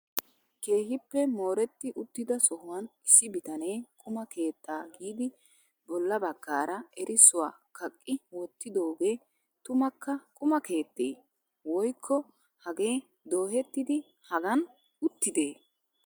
Keehippe mooretti uttida sohuwan issi bitanee quma keettaa giidi bolla baggaara erissuwa kaqqi wottidooge tumukka quma keettee ? Woykko hagee dohettidi hagan uttidee?